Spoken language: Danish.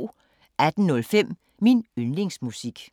18:05: Min yndlingsmusik